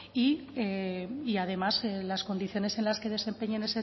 y además las condiciones en las que desempeñen